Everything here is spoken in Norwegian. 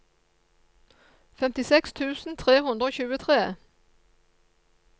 femtiseks tusen tre hundre og tjuetre